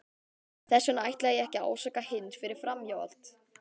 Þess vegna ætla ég ekki að ásaka Hind fyrir framhjáhald.